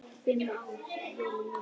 Fimm ára jólin mín.